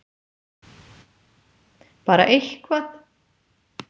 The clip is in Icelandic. Bara eitthvað!!!